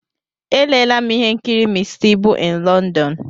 Elela'm ihe nkiri Mr Ibu in London.